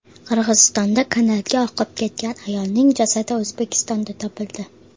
Qirg‘izistonda kanalga oqib ketgan ayolning jasadi O‘zbekistonda topildi.